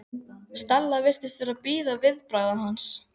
Stella virtist vera að bíða viðbragða hans.